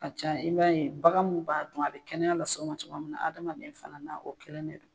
ka ca i b'a ye bagan mun b'a dun a bɛ kɛnɛya lase o ma cogoya min na adamaden fana na o kelen ne do.